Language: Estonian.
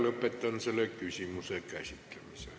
Lõpetan selle küsimuse käsitlemise.